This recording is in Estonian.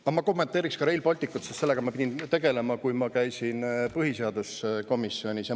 Aga ma kommenteeriksin ka Rail Balticut, sest sellega ma pidin tegelema, kui ma käisin põhiseaduskomisjonis.